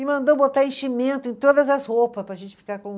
E mandou botar enchimento em todas as roupas para a gente ficar com